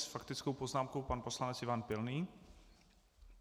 S faktickou poznámkou pan poslanec Ivan Pilný.